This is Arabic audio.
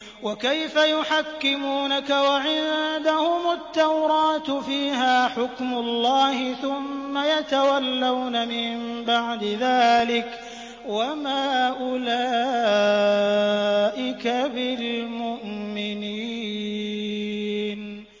وَكَيْفَ يُحَكِّمُونَكَ وَعِندَهُمُ التَّوْرَاةُ فِيهَا حُكْمُ اللَّهِ ثُمَّ يَتَوَلَّوْنَ مِن بَعْدِ ذَٰلِكَ ۚ وَمَا أُولَٰئِكَ بِالْمُؤْمِنِينَ